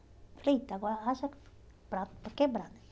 Falei, eita, agora haja prato para quebrar né